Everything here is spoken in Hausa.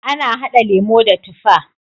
Ana hada lemo da tifa.